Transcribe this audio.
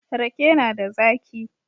Rake na da zaki